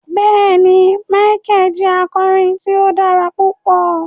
Bẹẹni, Micheal jẹ akọrin tí o dára pupọ